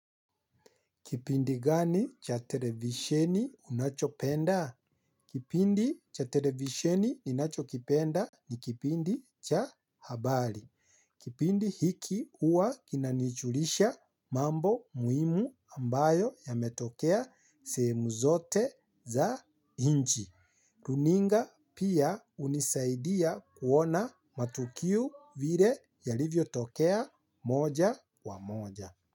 Kipindi gani cha televisheni unachopenda? Kipindi cha televisheni ninachokipenda ni kipindi cha habari. Kipindi hiki huwa kinanijulisha mambo muhimu ambayo yametokea sehemu zote za nchi. Runinga pia hunisaidia kuona matukio vile yalivyo tokea moja kwa moja.